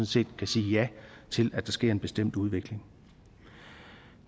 set kan sige ja til at der sker en bestemt udvikling